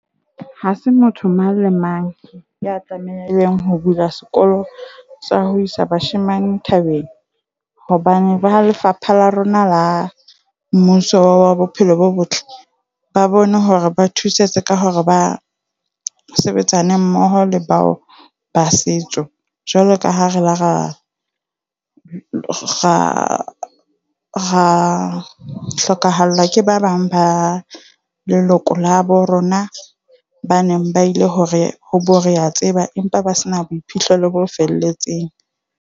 Ha se motho mang le mang ya tlamehileng ho bula sekolo sa ho isa bashemane thabeng hobane ba ha lefapha la rona la mmuso wa bophelo bo botle ba bone hore ba thusetse ka hore ba ho sebetsane mmoho le bao ba setso. Jwalo ka ha re la ra ra hlokahallwa ke ba bang ba leloko la bo rona ba neng ba ile hore ho boreatseba empa ba se na boiphihlelo bo felletseng.